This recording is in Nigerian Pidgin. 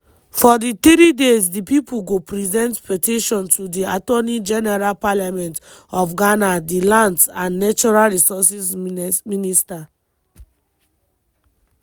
for di three days di pipo go present petition to di attorney general parliament of ghana di lands and natural resources minister.